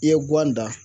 I ye guwan dan